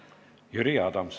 Jüri Adams.